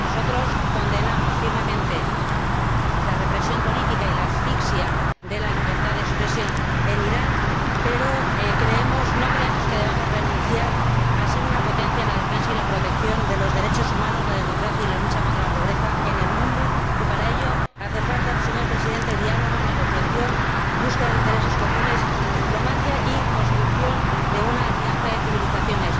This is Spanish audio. Nosotros condenamos firmemente la represión política y la asfixia de la libertad de expresión en Irán, pero no creemos que debamos renunciar a ser una potencia en la defensa y la protección de los derechos humanos, la democracia y la lucha contra la pobreza en el mundo, y para ello hace falta, señor Presidente, diálogo, negociación, búsqueda de intereses comunes, diplomacia y construcción de una alianza de civilizaciones.